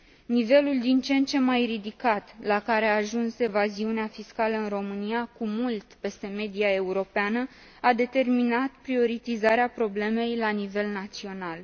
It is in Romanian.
Nivelul din ce în ce mai ridicat la care a ajuns evaziunea fiscală în România, cu mult peste media europeană, a determinat prioritizarea problemei la nivel național.